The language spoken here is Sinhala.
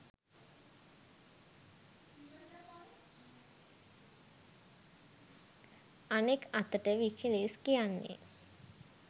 අනෙක් අතට විකිලීක්ස් කියන්නේ